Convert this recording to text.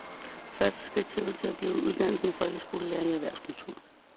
Første skridt ser ud til at blive uddannelse af folkeskolelærere i erhvervskultur.